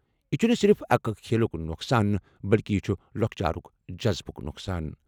"یہِ چھُنہٕ صِرِف کھیلُک نۄقصان بلکہِ یہِ چھُ لۄکچارُک جذبہٕ نۄقصان۔